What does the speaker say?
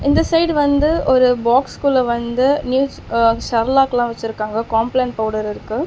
இந்த சைடு வந்து ஒரு பாக்ஸ் குள்ள வந்து நியூஸ் சரலாக்ல வச்சிருக்காங்க காம்ப்லென் பவுடர்ருக்கு .